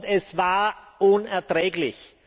Es war unerträglich!